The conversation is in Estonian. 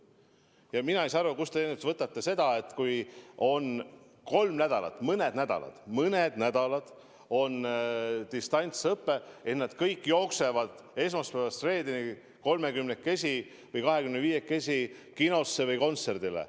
Aga ma ei saa aru, kust te võtate, et kui on kolm nädalat või mõni nädal distantsõpe, siis kõik jooksevad esmaspäevast reedeni kolmekümnekesi või kahekümneviiekesi kinosse või kontserdile.